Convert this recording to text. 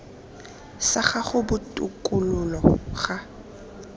sa gago sa botokololo ga